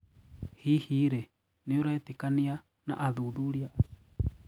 Hihi rĩĩ nĩũraĩtĩkanĩana athuthurĩa açĩo